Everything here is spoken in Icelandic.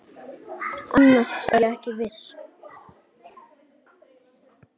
Annars er ég ekki viss.